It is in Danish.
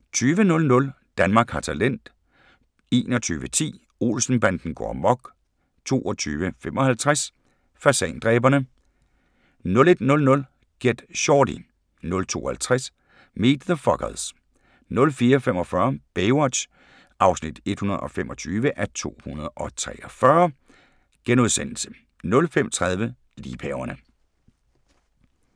20:00: Danmark har talent 21:10: Olsen-banden går amok 22:55: Fasandræberne 01:00: Get Shorty 02:50: Meet the Fockers 04:45: Baywatch (125:243)* 05:30: Liebhaverne